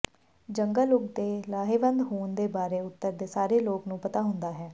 ਜੰਗਲ ਉਗ ਦੇ ਲਾਹੇਵੰਦ ਹੋਣ ਦੇ ਬਾਰੇ ਉੱਤਰ ਦੇ ਸਾਰੇ ਲੋਕ ਨੂੰ ਪਤਾ ਹੁੰਦਾ ਹੈ